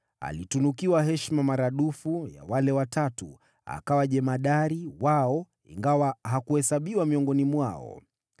Alitunukiwa heshima maradufu ya wale Watatu, akawa jemadari wao, ingawa hakuhesabiwa miongoni mwao.